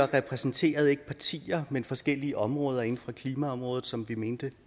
repræsenterede partier men forskellige områder inden for klimaområdet som vi mente